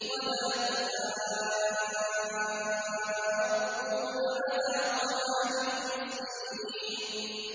وَلَا تَحَاضُّونَ عَلَىٰ طَعَامِ الْمِسْكِينِ